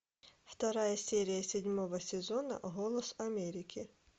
вторая серия седьмого сезона голос америки